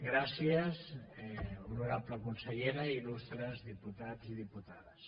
gràcies honorable consellera il·lustres diputats i dipu·tades